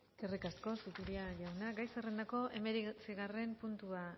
eskerrik asko zupiria jauna gai zerrendako hemeretzigarren puntua